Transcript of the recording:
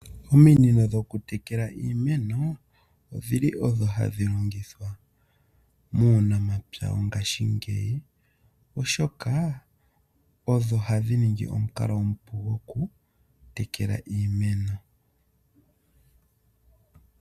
Ominino dho ku tekela iimeno odhili odho ha dhi longithwa muunamapya wongaashingeyi oshoka odho ha dhi ningi omukalo omupu gokutekela iimeno.